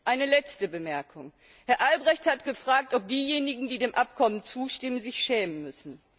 Eine letzte Bemerkung Herr Albrecht hat gefragt, ob diejenigen, die dem Abkommen zustimmen, sich schämen müssen.